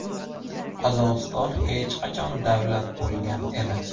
Qozog‘iston hech qachon davlat bo‘lgan emas.